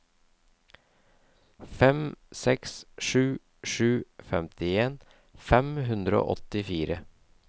fem seks sju sju femtien fem hundre og åttifire